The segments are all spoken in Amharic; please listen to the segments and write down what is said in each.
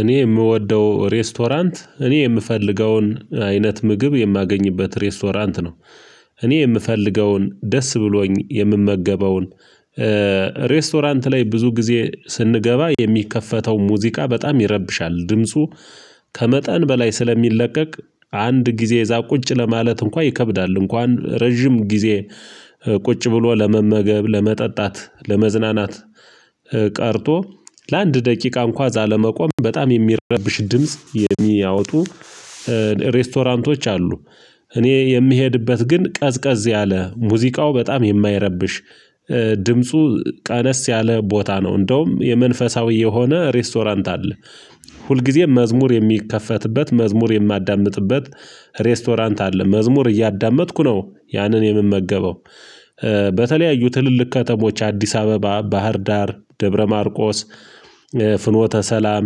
እኔ የምወደው ሬስቶራንት እኔ የምፈልገውን አይነት ምግብ የማገኝበት ሬስቶራንት ነው። እኔ የምፈልገውን ደስ ብሎኝ የምመገበውን። ሬስቶራንት ላይ ብዙ ጊዜ ስንገባ የሚከፈተው ሙዚቃ በጣም ይረብሻል ድምፁ። ከመጠን በላይ ስለሚለቀቅ አንድ ጊዜ እዛ ቁጭ ለማለት እንኳን ይከብዳል እንኳን ረጅም ጊዜ ቁጭ ብሎ ለመመገብ ለመጠጣት ለመዝናናት። ቀርቶ ለአንድ ደቂቃ እንኳን እዛ ለመቆም በጣም የሚረብሽ ድምጽ የሚያወጡ ሬስቶራንቶች አሉ። እኔ የምሄድበት ግን ቀዝቀዝ ያለ ሙዚቃው በጣም የማይረብሽ ድምፁ ቀነስ ያለ ቦታ ነው። እንደውም የመንፈሳዊ የሆነ ሬስቶራንት አለ። ሁልጊዜም መዝሙር የሚከፈትበት መዝሙር የማዳምጥበት ሬስቶራንት አለ መዝሙር እያዳመጥኩ ነው ያንን የምመገበው። በተለያዩ ትልልቅ ከተሞች አዲስ አበባ ባህር ዳር ደብረ ማርቆስ ፍኖተ ሰላም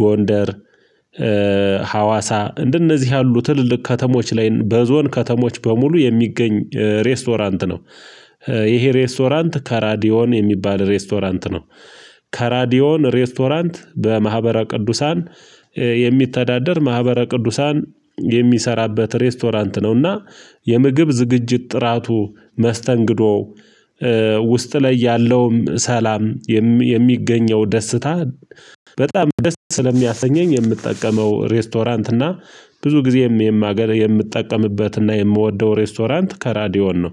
ጎንደር ሀዋሳ እንደነዚህ ያሉ ትልልቅ ከተሞች ላይ በዞን ከተሞች በሙሉ የሚገኝ ሬስቶራንት ነው። ይሄ ሬስቶራንት ከራዲዮን የሚባል ሬስቶራንት ነው። ከራዲዮን ሬስቶራንት በማህበረ ቅዱሳን የሚተዳደር ማህበረ ቅዱሳን የሚሰራበት ሬስቶራንት ነውና። የምግብ ዝግጅት ጥራቱ መስተንግዶ ውስጥ ላይ ያለውም ሰላም የሚገኘው ደስታ በጣም ደስታ ስለሚያሰኘኝ የምጠቀመው ሬስቶራንት እና። ብዙ ጊዜም የማገል የምጠቀምበት እና የምወደው ሬስቶራንት ከራዲዮን ነው።